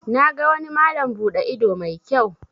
Na ga wani malam bude ido mai kyau.